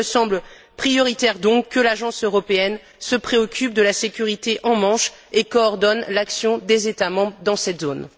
Il me semble donc prioritaire que l'Agence européenne se préoccupe de la sécurité en Manche et coordonne l'action des États membres dans cette zone.